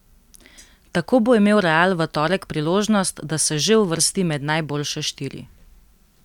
Tako bo imel Real v torek priložnost, da se že uvrsti med najboljše štiri.